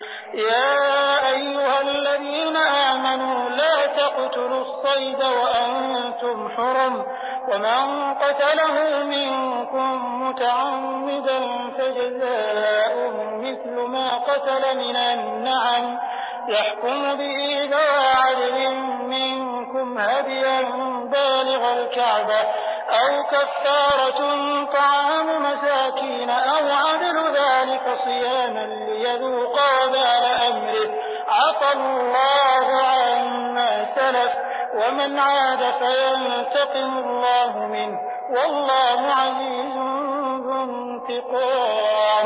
يَا أَيُّهَا الَّذِينَ آمَنُوا لَا تَقْتُلُوا الصَّيْدَ وَأَنتُمْ حُرُمٌ ۚ وَمَن قَتَلَهُ مِنكُم مُّتَعَمِّدًا فَجَزَاءٌ مِّثْلُ مَا قَتَلَ مِنَ النَّعَمِ يَحْكُمُ بِهِ ذَوَا عَدْلٍ مِّنكُمْ هَدْيًا بَالِغَ الْكَعْبَةِ أَوْ كَفَّارَةٌ طَعَامُ مَسَاكِينَ أَوْ عَدْلُ ذَٰلِكَ صِيَامًا لِّيَذُوقَ وَبَالَ أَمْرِهِ ۗ عَفَا اللَّهُ عَمَّا سَلَفَ ۚ وَمَنْ عَادَ فَيَنتَقِمُ اللَّهُ مِنْهُ ۗ وَاللَّهُ عَزِيزٌ ذُو انتِقَامٍ